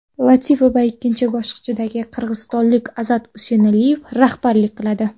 Latipovga ikkinchi bosqichda qirg‘izistonlik Azat Usenaliyev raqiblik qiladi.